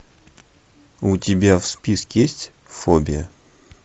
у тебя в списке есть фобия